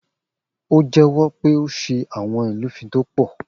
O jèwõ pé ó sé awõn ìlúfin tó põ